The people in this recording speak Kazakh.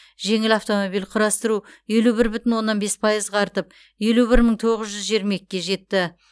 жеңіл автомобиль құрастыру елу бір бүтін оннан бес пайызға артып елу бір мың тоғыз жүз жиырма екіге жетті